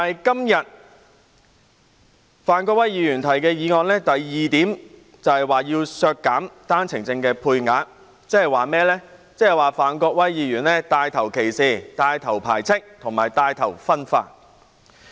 "然而，范國威議員今天所提議案的第二部分就是要削減單程證配額，即是他牽頭歧視、排斥及分化。